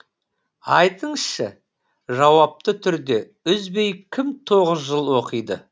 айтыңызшы жауапты түрде үзбей кім тоғыз жыл оқиды